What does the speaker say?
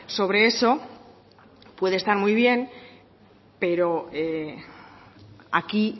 sobre eso puede estar muy bien pero aquí